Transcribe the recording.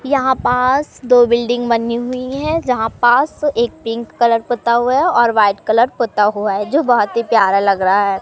यहां पास दो बिल्डिंग बनी हुई है जहां पास एक पिंक कलर पुता हुआ है और वाइट कलर पुता हुआ है जो बहोत ही प्यारा लग रहा है।